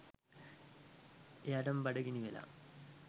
එයාටම බඩගිනි වෙලා